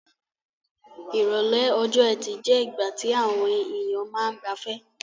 Ìrọ̀lẹ́ ọjọ́-ẹtì je ìgbà ti àwon èyàn ma n gbafẹ́